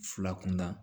Fila kunda